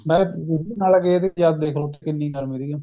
ਨਾਲੇ ਗਏ ਵੀ ਜਦ ਦੇਖਲੋ ਕਿੰਨੀ ਗਰਮੀ ਸਿਗੀ